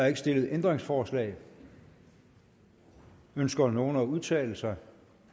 ikke stillet ændringsforslag ønsker nogen at udtale sig